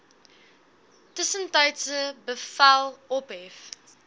tussentydse bevel ophef